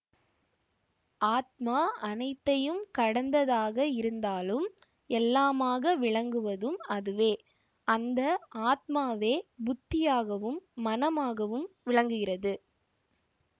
ஆத்மா அனைத்தையும் கடந்ததாக இருந்தாலும் எல்லாமாக விளங்குவதும் அதுவே அந்த ஆத்மாவே புத்தியாகவும் மனமாகவும் விளங்குகிறது